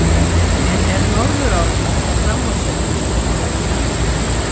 En er Norðurál að fara fram úr sér með því að hefja framkvæmdir?